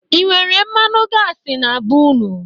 E nwere mmanu gasị na be unu?